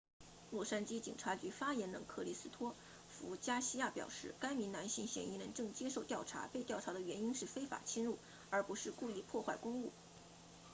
洛杉矶警察局发言人克里斯托弗加西亚 christopher garcia 表示该名男性嫌疑人正接受调查被调查的原因是非法侵入而不是故意破坏公物